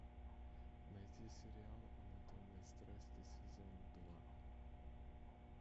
найти сериал анатомия страсти сезон два